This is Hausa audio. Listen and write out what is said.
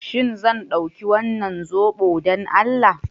Shin zan ɗauki wannan zobo don Allah?